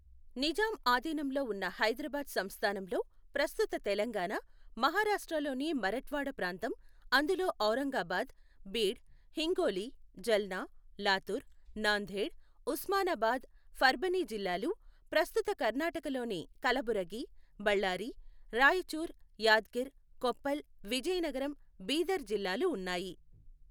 నిజాం ఆధీనంలో ఉన్న హైదరాబాద్ సంస్థానంలో ప్రస్తుత తెలంగాణ, మహారాష్ట్రలోని మరఠ్వాడా ప్రాంతం, అందులో ఔరంగాబాద్, బీడ్, హింగోలి, జల్నా, లాతూర్, నాందేడ్, ఉస్మానాబాద్, పర్భనీ జిల్లాలు, ప్రస్తుత కర్ణాటకలోని కలబురగి, బళ్లారి, రాయచూర్, యాద్గిర్, కొప్పల్, విజయనగరం, బీదర్ జిల్లాలు ఉన్నాయి.